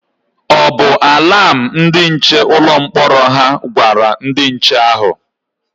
O bu alam ndị nche ụlọ mkpọrọ hà gwara ndị nche ahụ?